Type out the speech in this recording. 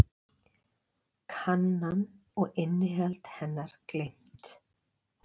Kannan og innihald hennar gleymt.